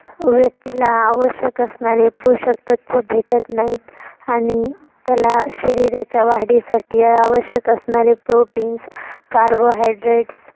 व्यक्तीला आवश्यक असणारे पोषक तत्व भेटत नाही आणि त्याला शरीराच्या वाढीसाठी आवश्यक असणारे proteins, carbohydrate